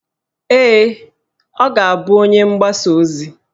Ee, ọ ga-bụ onye mgbasa ozi